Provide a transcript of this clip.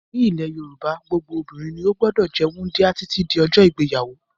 Nílẹ̀ Yorùbá tẹ́lẹ̀ gbogbo obìnrin ni ó gbọ́dọ̀ jẹ́ wúńdíá títí di ọjọ́ ìgbéyàwó.